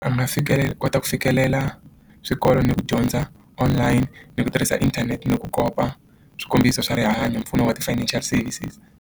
A nga fikeleli ku kota ku fikelela swikolo ni ku dyondza online ni ku tirhisa inthanete ni ku kopa swikombiso swa rihanyo mpfuno wa ti-financial services.